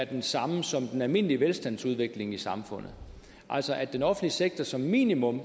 det samme som den almindelige velstandsudvikling i samfundet altså at den offentlige sektor som minimum